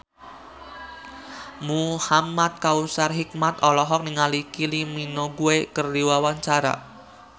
Muhamad Kautsar Hikmat olohok ningali Kylie Minogue keur diwawancara